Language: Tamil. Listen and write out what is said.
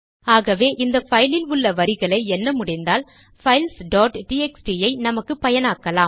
ஆகவே இந்த பைலில் உள்ள வரிகளை எண்ண முடிந்தால் பைல்ஸ் டாட் டிஎக்ஸ்டி ஐ நமக்கு பயனாக்கலாம்